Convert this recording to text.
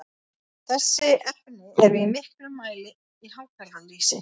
þessi efni eru í miklum mæli í hákarlalýsi